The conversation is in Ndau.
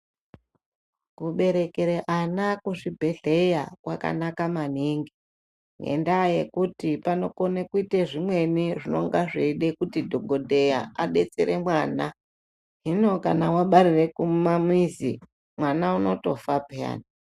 Kuberekere ana kuzvibhehleya kwakanaka maningi ngendaa yekuti panokone kuite zvimweni zvinonga zveide kuti dhogodheya adetsere mwana. Hino kana wabarire kumamizi, mwana unotofa peyani.